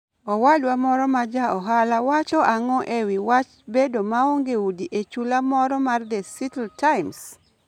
Owadwa moro ma ja ohala wacho ang'o e wi wach bedo maonge udi e sula moro mar The Seattle Times?